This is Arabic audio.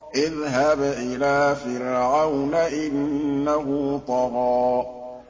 اذْهَبْ إِلَىٰ فِرْعَوْنَ إِنَّهُ طَغَىٰ